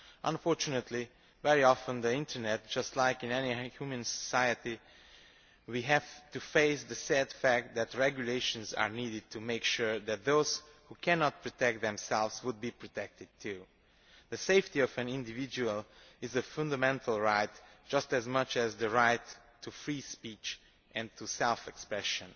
Unfortunately, very often with the Internet, just as in any human society, we have to face the sad fact that regulations are needed to make sure that those who cannot protect themselves are protected too. The safety of an individual is a fundamental right, just as much as the right to free speech and to self expression.